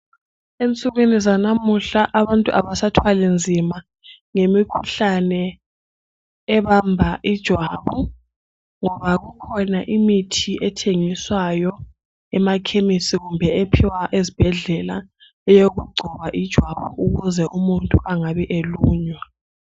Ensukwini zanamuhla abantu sebethwala nzima ngemikhuhlane ebamba ijwabu ngoba kukhona imithi erhengiswayo emakhemisi kumbe ephiwa ezibhedlela eyokugcoba ijwabu ukuze umuntu engabi elunywa